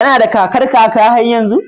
Kana da kakar kaka har yanzu?